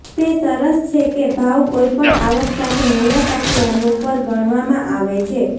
તે સરસ છે કે ભાવ કોઈપણ આવક સાથે મુલાકાતીઓનું પર ગણવામાં આવે છે